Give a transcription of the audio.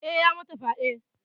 Eh ya mata fyade.